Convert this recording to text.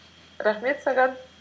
рахмет саған